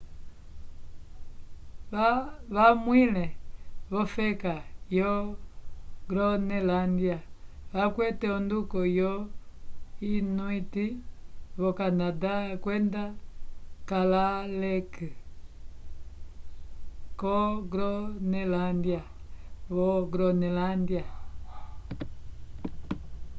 vamwẽle v'ofeka vo gronelândia vakwete onduko yo inuit vo canada kwenda kalaalleq ko gronelândia vo gronelândia